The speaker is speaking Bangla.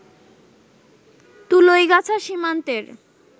তুলইগাছা সীমান্তের